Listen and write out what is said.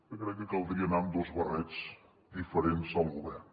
que crec que caldria anar amb dos barrets diferents al govern